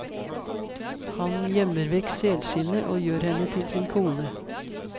Han gjemmer vekk selskinnet og gjør henne til sin kone.